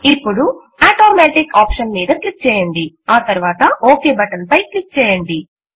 ఇప్పుడు automatic option మీద click చేయండి ఆ తరువాత ఒక్ బటన్ పై క్లిక్ చేయండి